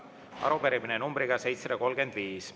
Arupärimine numbriga 735.